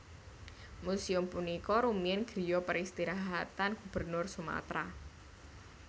Museum punika rumiyin griya peristirahatan Gubernur Sumatera